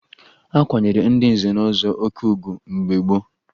A kwanyere ndị nze na ọzọ oke ugwu mgbe gboo